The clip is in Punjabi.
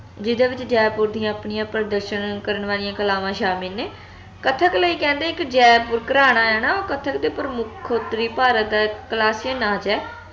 ਜਿਹਦੇ ਵਿਚ ਜੈਪੁਰ ਦੀਆ ਆਪਣੀਆਂ ਪ੍ਰਦਰਸ਼ਨ ਕਰਨ ਵਾਲਿਆਂ ਕਲਾਵਾਂ ਸ਼ਾਮਿਲ ਨੇ ਕਥਕ ਲਈ ਕਹਿੰਦੇ ਇਕ ਜੈਪੁਰ ਘਰਾਣਾ ਹੈ ਨਾ ਓਹ ਕੱਥਕ ਦੇ ਪ੍ਰਮੁੱਖ ਉਤਰੀ ਭਾਰਤ ਨਾਚ ਹੈ